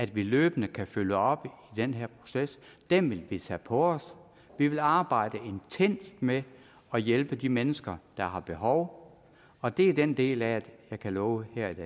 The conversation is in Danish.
vi løbende kan følge op på den her proces det vil vi tage på os vi vil arbejde intenst med at hjælpe de mennesker der har behov og det er den del af det jeg kan love her